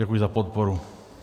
Děkuji za podporu.